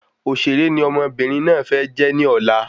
Òṣèré ni ọmọbìnrin náà fẹ́ jẹ́ ní ọ̀la